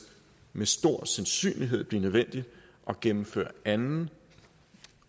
med stor sandsynlighed blive nødvendigt at gennemføre anden